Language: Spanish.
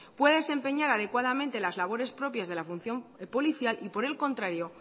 pueda desempeñar adecuadamente las labores propias de la función policial y por el contrario